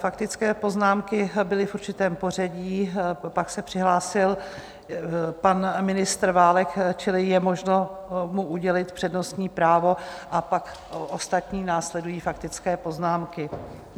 Faktické poznámky byly v určitém pořadí, pak se přihlásil pan ministr Válek, čili je možno mu udělit přednostní právo a pak ostatní následují faktické poznámky.